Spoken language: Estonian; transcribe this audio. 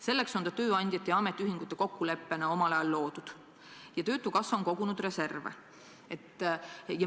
Selleks on see tööandjate ja ametiühingute kokkuleppel omal ajal loodud ja töötukassa on kogunud reserve.